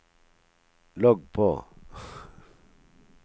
logg på